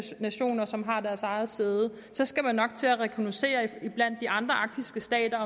nationer som har deres eget sæde skal man nok til at rekognoscere iblandt de andre arktiske stater